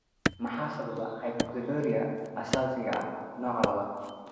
Maxaa sababa hyperoxaluria aasaasiga ah nooca labad?